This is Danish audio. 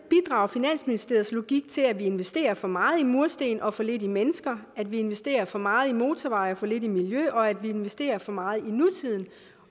finansministeriets logik til at vi investerer for meget i mursten og for lidt i mennesker at vi investerer for meget i motorveje og for lidt i miljø og at vi investerer for meget i nutiden